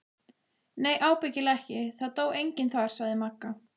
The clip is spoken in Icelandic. Nei ábyggilega ekki, það dó enginn þar sagði Magga.